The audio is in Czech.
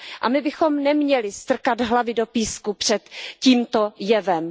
A my bychom neměli strkat hlavy do písku před tímto jevem.